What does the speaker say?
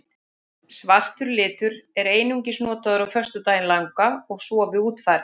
Svartur litur er einungis notaður á föstudaginn langa og svo við útfarir.